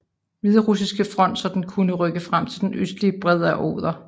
Hviderussiske front så den kunne rykke frem til den østlige bred af Oder